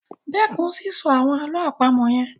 Stop saying those riddles